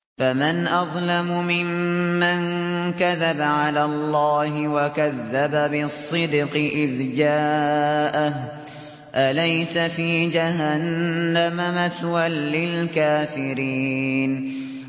۞ فَمَنْ أَظْلَمُ مِمَّن كَذَبَ عَلَى اللَّهِ وَكَذَّبَ بِالصِّدْقِ إِذْ جَاءَهُ ۚ أَلَيْسَ فِي جَهَنَّمَ مَثْوًى لِّلْكَافِرِينَ